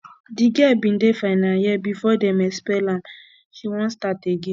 di girl bin dey final year before dem expel am she wan start again